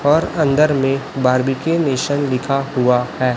और अंदर में बार्बी के निशान लिखा हुआ है।